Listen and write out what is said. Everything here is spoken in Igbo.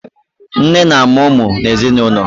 Nne na amụ ụmụ n'ezinụlọ